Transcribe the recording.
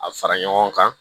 A fara ɲɔgɔn kan